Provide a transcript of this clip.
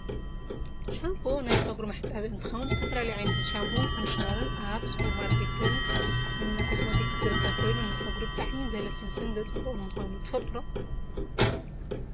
ሻንቦ ናይ ፀጉሪ መሕፀቢ እንትከውን ዝተፈላለዩ ዓይነታት ሻንቦን ኮንድሽነርን ኣብ ስፐርማርከትን ኮስመቲክስን ዝርከብ ኮይኑ ንፀጉሪ ብጣዕሚ ዘለስልስን ዘፀብቅን ምኳኑ ትፈልጡ ዶ ?